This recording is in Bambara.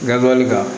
Gabiriyɛri la